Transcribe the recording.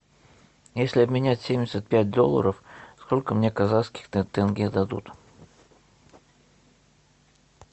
если обменять семьдесят пять долларов сколько мне казахских тенге дадут